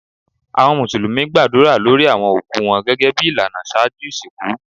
Awọn musulumi gbadura lórí awọn okú wọn gẹ́gẹ́bí ilànà ṣájú isínkú.